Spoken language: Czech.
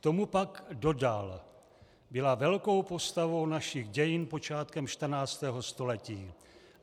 K tomu pak dodal: "Byla velkou postavou našich dějin počátkem 14. století.